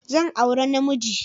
Zan auri na namiji.